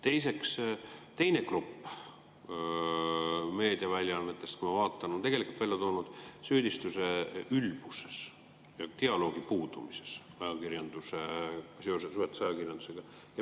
Teiseks, teine grupp meediaväljaannetest, kui ma vaatan, on välja toonud süüdistuse ülbuses ja dialoogi puudumises seoses võrdse ajakirjandusega.